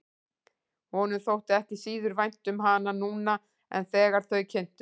Honum þótti ekki síður vænt um hana núna en þegar þau kynntust.